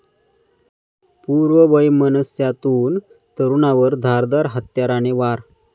पूर्ववैमनस्यातून तरूणावर धारदार हत्याराने वार